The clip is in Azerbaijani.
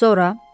Sonra?